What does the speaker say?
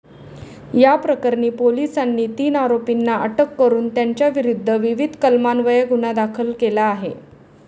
या प्रकरणी पोलिसांनी तीन आरोपींना अटक करून त्यांच्याविरुद्ध विविध कलमान्वये गुन्हा दाखल केला आहे.